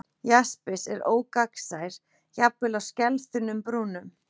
Jaspis er ógagnsær, jafnvel á skelþunnum brúnum.